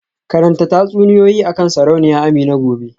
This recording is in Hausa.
Karanta tatsuniyoyi akan Sarauniya Amina gobe